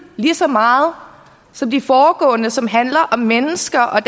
lige så meget som de foregående som har handlet om mennesker og